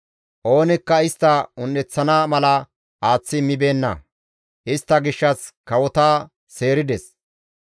Oonikka istta un7eththana mala aaththi immibeenna; istta gishshas kawota seerides;